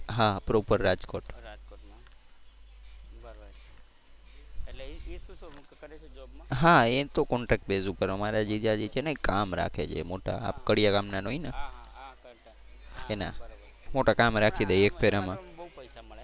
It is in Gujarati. હા એ તો contarct base ઉપર. અમારા જીજાજી છે ને કામ રાખે છે મોટા આ કડિયા કામના હોય ને એના. મોટા કામ રાખી દે એક ફેરામાં.